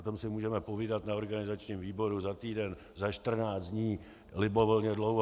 O tom si můžeme povídat na organizačním výboru za týden, za 14 dní libovolně dlouho.